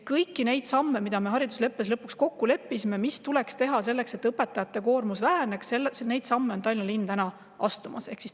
Kõiki neid samme, milles me haridusleppes lõpuks kokku leppisime ja mis tuleks ära teha, selleks et õpetajate koormus väheneks, Tallinna linn astuda.